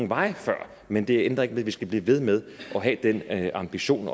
vej før men det ændrer ikke ved at vi skal blive ved med at have ambitionen